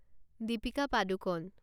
Deepika Padukone